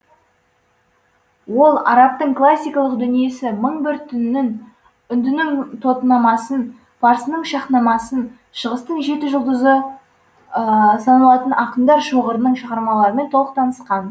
ол арабтың классикалық дүниесі мың бір түнін үндінің тотынамасын парсының шаһнамасын шығыстың жеті жұлдызы саналатын ақындар шоғырының шығармаларымен толық танысқан